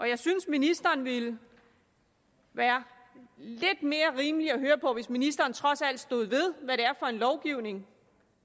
jeg synes ministeren ville være lidt mere rimelig at høre på hvis ministeren trods alt stod ved hvad det er for en lovgivning